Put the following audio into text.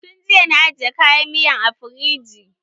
Tun jiya na aje kayan miyan a firiji.